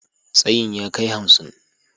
Tsayin ya kai hamsin